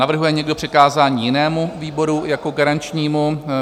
Navrhuje někdo přikázání jinému výboru jako garančnímu?